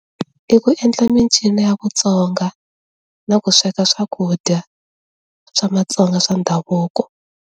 I ku endla mincino ya Vatsonga na ku sweka swakudya swa maTsonga swa ndhavuko.